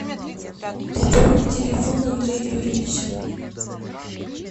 пополни телефон андрея юрьевича